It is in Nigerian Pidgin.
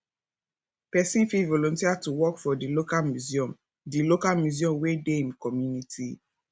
person fit volunteer to work for di local museum di local museum wey dey im community